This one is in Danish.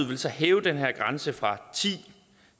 vil så hæve den her grænse fra